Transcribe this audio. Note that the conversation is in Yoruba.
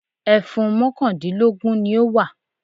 Ẹfun mọ́kàndínlógún ni ó wà.